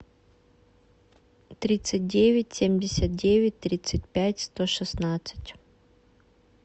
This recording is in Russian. тридцать девять семьдесят девять тридцать пять сто шестнадцать